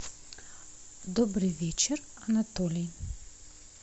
добрый вечер анатолий